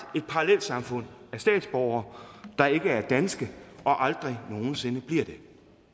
et parallelsamfund af statsborgere der ikke er danske og aldrig nogen sinde bliver det